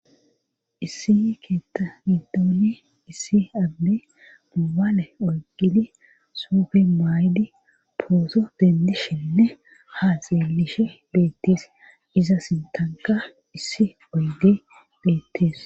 issi i keeta nidoone issi abbe mubaale oygidi sufe maydi pooso bendishenne haa zeelishe beettees iza sintanka issi oyge beettees